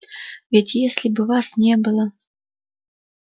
ведь если бы вас не было